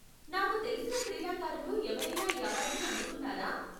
నాకు తెలిసిన క్రీడాకారులు ఎవరైనా ఈ అవార్డును అందుకున్నారా?